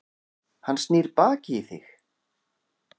Hann snýr baki í þig.